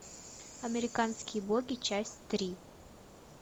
американские боги часть три